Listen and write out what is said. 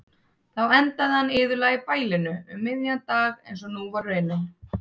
Þá endaði hann iðulega í bælinu um miðjan dag einsog nú var raunin.